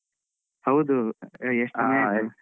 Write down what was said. ಹೌದು. ಎಷ್ಟ್ ದಿನ ಆಯ್ತು ಆ.